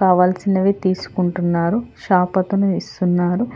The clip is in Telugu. కావాల్సినవి తీసుకుంటున్నారు షాప్ అతను ఇస్తున్నాడు.